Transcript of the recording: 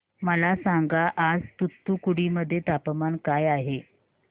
मला सांगा आज तूतुकुडी मध्ये तापमान काय आहे